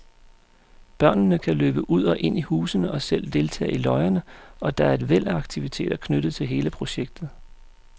Børnene kan løbe ud og ind i husene og selv deltage i løjerne, og der er et væld af aktiviteter knyttet til hele projektet.